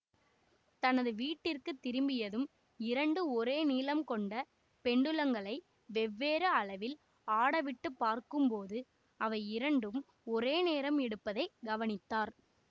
தனது வீட்டிற்கு திரும்பியதும் இரண்டு ஒரே நீளம் கொண்ட பெண்டுலங்களை வெவ்வேறு அளவில் ஆடவிட்டுப்பார்க்கும்போது அவை இரண்டும் ஒரே நேரம் எடுப்பதை கவனித்தார்